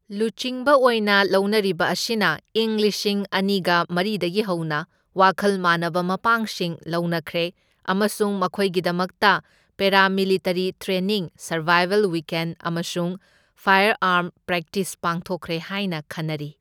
ꯂꯨꯆꯤꯡꯕ ꯑꯣꯏꯅ ꯂꯧꯅꯔꯤꯕ ꯑꯁꯤꯅ ꯢꯪ ꯂꯤꯁꯤꯡ ꯑꯅꯤꯒ ꯃꯔꯤꯗꯒꯤ ꯍꯧꯅ ꯋꯥꯈꯜ ꯃꯥꯟꯅꯕ ꯃꯄꯥꯡꯁꯤꯡ ꯂꯧꯅꯈ꯭ꯔꯦ ꯑꯃꯁꯨꯡ ꯃꯈꯣꯏꯒꯤꯗꯃꯛꯇ ꯄꯦꯔꯥꯃꯤꯂꯤꯇꯔꯤ ꯇ꯭ꯔꯦꯅꯤꯡ, ꯁꯔꯚꯥꯏꯚꯦꯜ ꯋꯤꯀꯦꯟꯗ ꯑꯃꯁꯨꯡ ꯐꯥꯏꯌꯔꯑꯥꯔꯝ ꯄ꯭ꯔꯦꯛꯇꯤꯁ ꯄꯥꯡꯊꯣꯛꯈ꯭ꯔꯦ ꯍꯥꯏꯅ ꯈꯟꯅꯔꯤ꯫